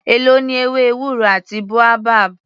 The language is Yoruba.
Èló ni ewé ewúro àti boabab.